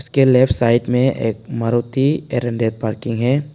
इसके left side में एक मारुति पार्किंग है।